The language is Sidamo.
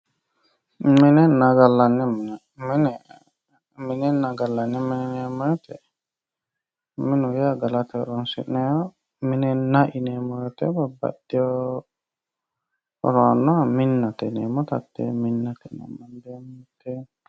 Minenna gallanni mine, minenna gallanni mine yineemmo woyte minu yaa gallate horonsi'nanniho ,minna yineemmo woyte babbaxeo horonna minnate yineemmotta hate mitteenni.